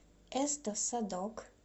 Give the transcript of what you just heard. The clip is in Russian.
эсто садок